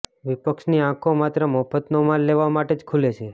વિપક્ષની આંખો માત્ર મફતનો માલ લેવા માટે જ ખુલે છે